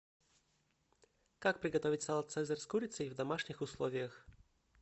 как приготовить салат цезарь с курицей в домашних условиях